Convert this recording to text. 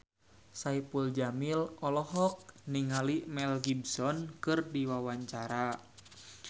Saipul Jamil olohok ningali Mel Gibson keur diwawancara